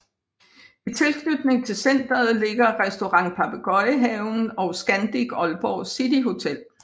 I tilknytning til centret ligger Restaurant Papegøjehaven og Scandic Aalborg City Hotel